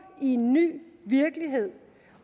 i en ny virkelighed